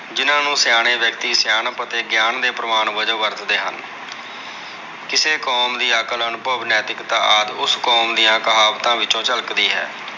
ਜਿਹਨਾਂ ਨੂੰ ਸਿਆਣੇ ਵਿਅਕਤੀ ਸਿਆਣਪ ਅਤੇ ਗਿਆਨ ਦੇ ਪ੍ਰਵਾਨ ਵਜੋਂ ਵਰਤਦੇ ਹਨ। ਕਿਸੇ ਕੌਮ ਦੀ ਅਕਲ ਅਨੁਭਵ ਨੈਤਿਕਤਾ ਆਦਿ। ਉਸ ਕੌਮ ਦੀਆਂ ਕਹਾਵਤਾਂ ਵਿੱਚੋ ਝਲਕਦੀ ਹੈ।